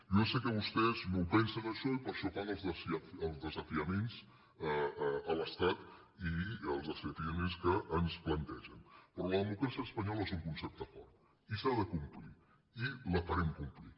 jo ja sé que vostès no ho pensen això i per això fan els de·safiaments a l’estat i els desafiaments que ens plante·gen però la democràcia espanyola és un concepte fort i s’ha de complir i la farem complir